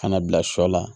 Ka na bila sɔ la